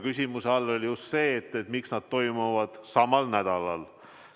Küsimuse all oli just see, miks need toimuvad samal nädalal.